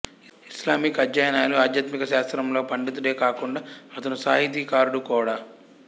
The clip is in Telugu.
ఇస్లామిక్ అధ్యయనాలు ఆధ్యాత్మికశాస్త్రంలో పండితుడే కాకుండా అతను సాహితీ కారుడు కూడా